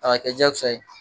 A ka jakosa ye